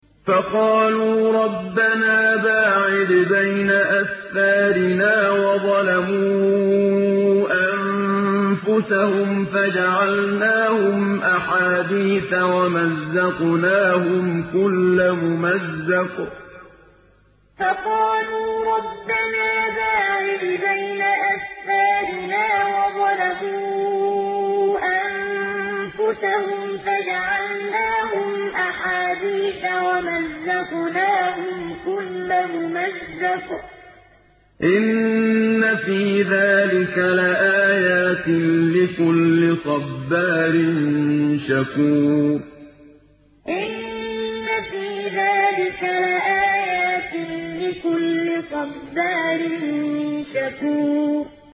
فَقَالُوا رَبَّنَا بَاعِدْ بَيْنَ أَسْفَارِنَا وَظَلَمُوا أَنفُسَهُمْ فَجَعَلْنَاهُمْ أَحَادِيثَ وَمَزَّقْنَاهُمْ كُلَّ مُمَزَّقٍ ۚ إِنَّ فِي ذَٰلِكَ لَآيَاتٍ لِّكُلِّ صَبَّارٍ شَكُورٍ فَقَالُوا رَبَّنَا بَاعِدْ بَيْنَ أَسْفَارِنَا وَظَلَمُوا أَنفُسَهُمْ فَجَعَلْنَاهُمْ أَحَادِيثَ وَمَزَّقْنَاهُمْ كُلَّ مُمَزَّقٍ ۚ إِنَّ فِي ذَٰلِكَ لَآيَاتٍ لِّكُلِّ صَبَّارٍ شَكُورٍ